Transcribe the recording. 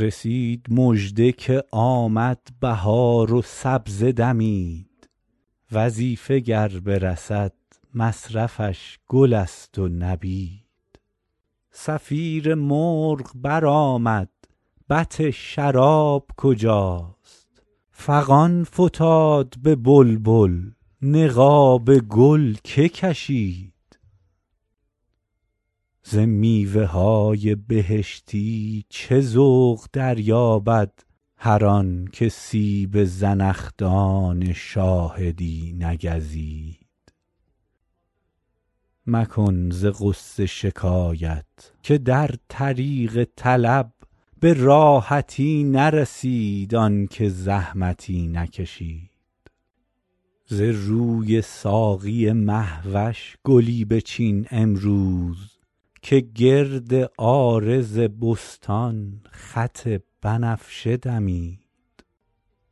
رسید مژده که آمد بهار و سبزه دمید وظیفه گر برسد مصرفش گل است و نبید صفیر مرغ برآمد بط شراب کجاست فغان فتاد به بلبل نقاب گل که کشید ز میوه های بهشتی چه ذوق دریابد هر آن که سیب زنخدان شاهدی نگزید مکن ز غصه شکایت که در طریق طلب به راحتی نرسید آن که زحمتی نکشید ز روی ساقی مه وش گلی بچین امروز که گرد عارض بستان خط بنفشه دمید